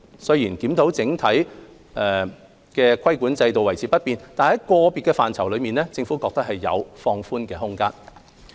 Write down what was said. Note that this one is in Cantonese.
雖然檢討認為整體規管制度維持不變，但在個別範疇裏，政府認為有放寬的空間。